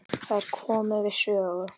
Þær komu við sögu.